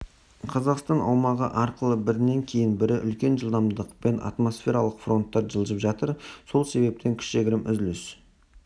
қазақстан аумағы арқылы бірінен кейін бірі үлкен жылдамдықпен атмосфералық фронттар жылжып жатыр сол себептен кішігірім үзіліс